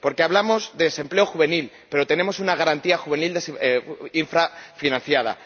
Porque hablamos de desempleo juvenil, pero tenemos una Garantía Juvenil infrafinanciada